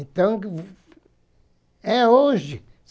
Então, é hoje.